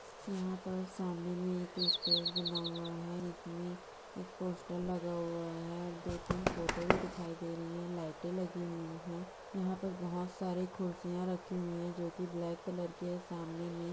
यहाँ पर सामने मे एक स्टेज बना हुआ है जिसमे एक पोस्टर लगा हुआ है और दो तीन फोटो भी दिखाई दे रही है लाइटे लगी हुई है यहाँ पर बहुत सारे खुर्सियाँ रखी हुई है जो की ब्लॅक कलर के सामने मे--